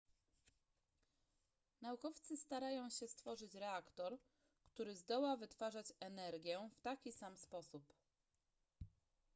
naukowcy starają się stworzyć reaktor który zdoła wytwarzać energię w taki sam sposób